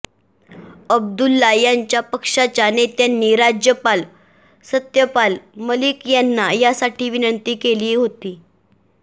अब्दुल्ला यांच्या पक्षाच्या नेत्यांनी राज्यपाल सत्यपाल मलिक यांना यासाठी विनंती केली होती